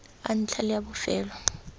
a ntlha le a bofelo